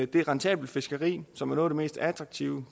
det er rentabelt fiskeri som er noget mest attraktive